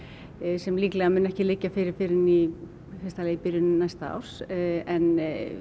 sem líklega mun ekki liggja fyrir fyrr en í í byrjun næsta árs en